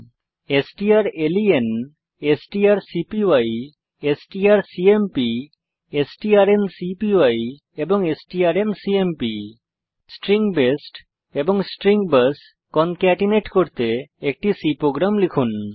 strlen strcpy strcmp strncpy এবং strncmp নির্দেশিত কাজ হিসাবে স্ট্রিং বেস্ট এবং স্ট্রিং বাস কনকেটিনেট করতে একটি C প্রোগ্রাম লিখুন